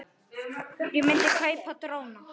Ég myndi kaupa dróna.